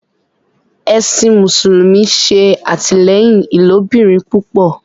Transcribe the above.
Ẹsìn mùsùlùmí ṣe atilẹyin ilobirin púpọ